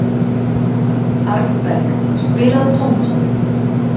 Arnberg, spilaðu tónlist.